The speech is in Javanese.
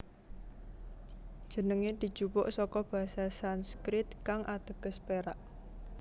Jenengé dijupuk saka basa Sanskrit kang ateges perak